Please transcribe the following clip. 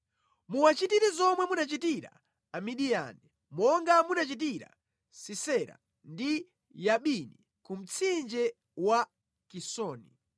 Muwachitire zomwe munachitira Amidiyani, monga munachitira Sisera ndi Yabini ku mtsinje wa Kisoni.